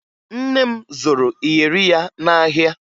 Nne m zụrụ iyeri ya n'ahịa